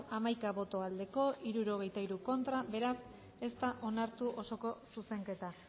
hirurogeita hamalau eman dugu bozka hamaika boto aldekoa sesenta y tres contra beraz ez da onartu osoko zuzenketa